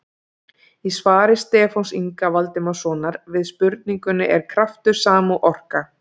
Í svari Stefáns Inga Valdimarssonar við spurningunni Er kraftur sama og orka?